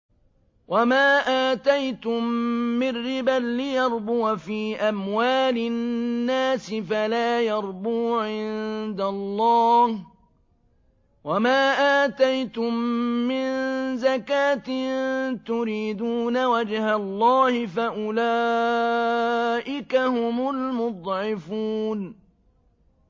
وَمَا آتَيْتُم مِّن رِّبًا لِّيَرْبُوَ فِي أَمْوَالِ النَّاسِ فَلَا يَرْبُو عِندَ اللَّهِ ۖ وَمَا آتَيْتُم مِّن زَكَاةٍ تُرِيدُونَ وَجْهَ اللَّهِ فَأُولَٰئِكَ هُمُ الْمُضْعِفُونَ